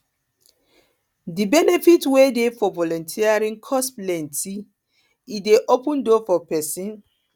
di benefit wey dey for volunteering cause plenty e dey open door for pesin